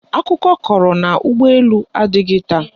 Akụkọ kọrọ na ụgbọelu adịghị taa